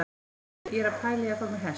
Veistu, ég er að pæla í að fá mér hest!